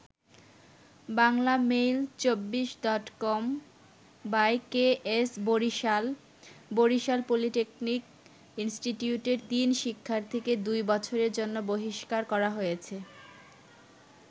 বাংলামেইল২৪ডটকম/ KS Barisal: Barisal polytechnic ইনস্টিটিউটের তিন শিক্ষার্থীকে দুই বছরের জন্য বহিষ্কার করা হয়েছে।